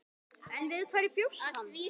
En við hverju bjóst hann?